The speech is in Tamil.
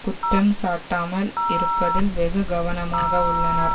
குற்றம் சாட்டாமல் இருப்பதில் வெகு கவனமாக உள்ளனர்